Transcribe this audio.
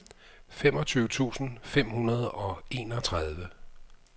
femogtyve tusind fem hundrede og enogtredive